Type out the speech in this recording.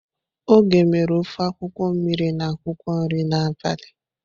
Oge mere ofe akwukwo mmiri na akwukwo nri n'abali.